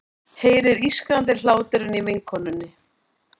Heyrir ískrandi hláturinn í vinkonunni.